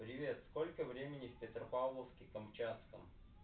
привет сколько времени в петропавловске-камчатском